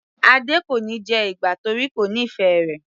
Adé kò níí jẹ ìgbá torí kò nífẹ̀ẹ́ rẹ̀.